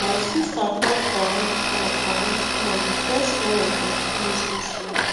my sister fall for wet fall for wet floor we press towel for the place wey swell